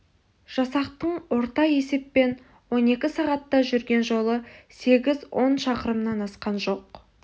жасақтың орта есеппен он екі сағатта жүрген жолы сегіз он шақырымнан асқан жоқ